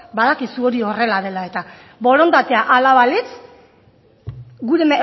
badakizu hori horrela dela eta borondatea hala balitz gure